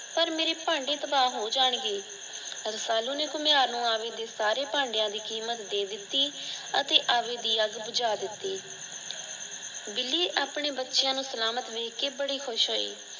ਪਰ ਮੇਰੇ ਭਾਂਡੇ ਤਬਾਹ ਹੋ ਜਾਣਗੇ। ਰਸਾਲੂ ਨੇ ਘੁਮਿਆਰ ਨੂੰ ਆਵੀ ਦੇ ਸਾਰੇ ਭਾਂਡਿਆ ਦੀ ਕੀਮਤ ਦੇ ਦਿੱਤੀ ਅਤੇ ਆਵੀ ਦੀ ਅੱਗ ਬੁਝਾ ਦਿੱਤੀ। ਬਿੱਲੀ ਆਪਨੇ ਬੱਚਿਆ ਨੂੰ ਸਲਾਮਤ ਵੇਖ ਕੇ ਬੜਾ ਖੁਸ਼ ਹੋਈ।